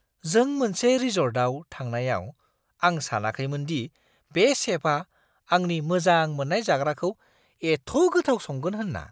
जों मोनसे रिसर्टआव थांनायाव आं सानाखैमोन दि बे शेफआ आंनि मोजां मोन्नाय जाग्राखौ एथ' गोथाव संगोन होन्ना!